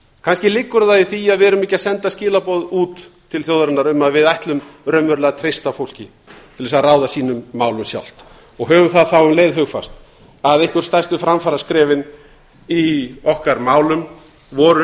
kannski liggur það í því að við erum ekki að senda skilaboð út til þjóðarinnar um að við ætlum raunverulega að treysta fólki til þess að ráða sínum málum sjálft höfum það þá um leið hugfast að einhver stærstu framfaraskrefin í okkar málum voru